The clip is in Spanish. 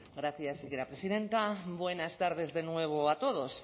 gracias señora presidenta buenas tardes de nuevo a todos